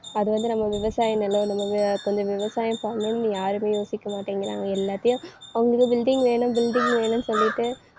அது வந்து நம்ம விவசாய நிலம் நம்ம வி~ கொஞ்சம் விவசாயம் பண்ணணும்னு யாருமே யோசிக்க மாட்டேங்கிறாங்க. எல்லாத்தையும் அவங்களுக்கு building வேணும் building வேணும்னு சொல்லிட்டு